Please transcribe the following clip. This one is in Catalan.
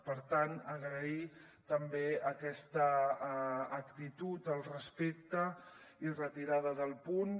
per tant agrair també aquesta actitud al respecte i la retirada del punt